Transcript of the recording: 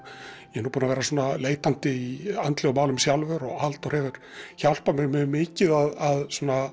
ég er nú búinn að vera leitandi í andlegum málum sjálfur og Halldór hefur hjálpað mér mjög mikið að